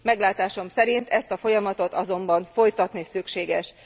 Meglátásom szerint ezt a folyamatot azonban folytatni szükséges.